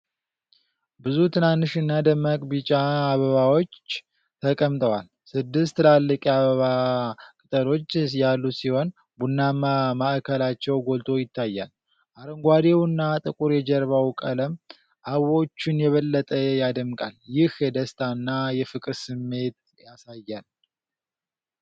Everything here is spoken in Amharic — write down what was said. ብዙ ትናንሽና ደማቅ ቢጫ አበባዎች ተቀምጠዋል። ስድስት ትላልቅ የአበባ ቅጠሎች ያሉት ሲሆን፣ ቡናማ ማዕከላቸው ጎልቶ ይታያል። አረንጓዴውና ጥቁር የጀርባው ቀለም አበቦቹን የበለጠ ያደምቃል፤ ይህ የደስታና የፍቅር ስሜት ያሳያል።